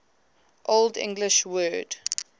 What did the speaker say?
old english word